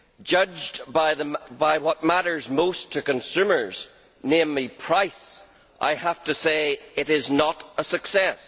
Judged by what matters most to consumers namely price I have to say it is not a success.